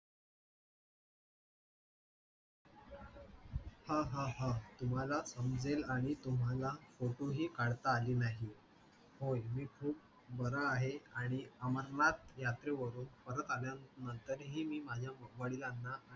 हा हा हा, तुम्हाला समजेल आणि तुम्हाला photo ही काढता आले नाहीत. होय, मी खूप बरा आहे आणि अमरनाथ यात्रेवरून परत आल्यानंतरही मी माझ्या वडिलांना